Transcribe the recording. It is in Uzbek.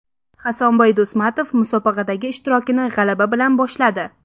Hasanboy Do‘stmatov musobaqadagi ishtirokini g‘alaba bilan boshladi.